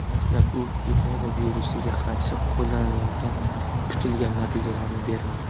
Dastlab u Ebola virusiga qarshi qo‘llanilganda kutilgan natijalarni bermadi.